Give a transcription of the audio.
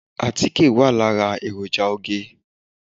Àtíkè wà lára èròjà oge.